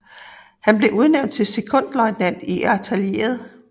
Han blev udnævnt til sekondløjtnant i artilleriet